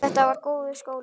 Þetta var góður skóli.